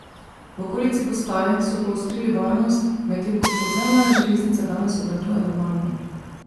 V okolici postaj so poostrili varnost, medtem ko podzemna železnica danes obratuje normalno.